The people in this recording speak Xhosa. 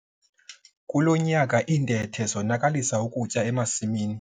Kulo nyaka iintethe zonakalisa ukutya emasimini.